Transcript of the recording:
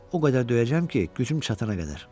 o qədər döyəcəm ki, gücüm çatana qədər.